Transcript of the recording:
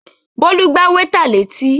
Bólú gbá wétà létí